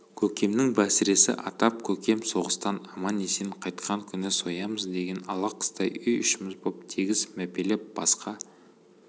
көкемнің бәсіресі атап көкем соғыстан аман-есен қайтқан күні соямыз деген ала қыстай үй-ішіміз боп тегіс мәпелеп басқа